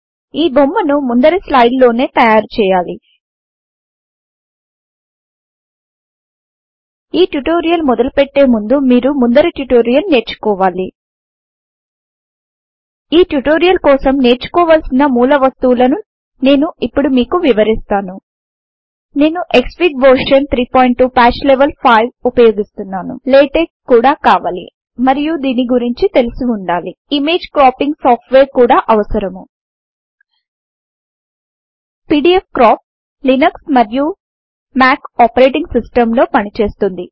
నేను ఈ బొమ్మను ముందరి స్లైడ్ లోనే తయారు చేయాలి ఈ ట్యుటోరియల్ మొదలు పెట్టే ముందు మీరు ముందరి ట్యుటోరియల్ నేర్చుకోవాలి ఈ ట్యుటోరియల్ కోసం నేర్చుకోవలసిన మూలవస్తువు లను నేను ఇప్పుడు మీకు వివరిస్తాను నేను క్స్ఫిగ్ వెర్షన్ 32 పాట్చ్ లెవెల్ 5 ఉపయోగిస్తున్నాను లాటెక్స్ కూడా కావాలి మరియు దీని గురించి తెలిసి వుండాలి ఇమేజ్ క్రాపింగ్ సాఫ్ట్వేర్ కూడా అవసరము పీడీఎఫ్క్రాప్ లినక్స్ మరియు మాక్ ఒఎస్ X లో పనిచేస్తుంది